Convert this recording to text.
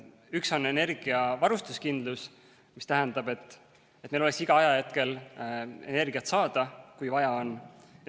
Üks on energiavarustuskindlus, mis tähendab, et meil oleks igal ajahetkel energiat saada, kui vaja on.